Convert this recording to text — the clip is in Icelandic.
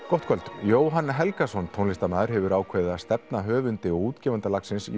gott kvöld Jóhann Helgason tónlistarmaður hefur ákveðið að stefna höfundi og útgefanda lagsins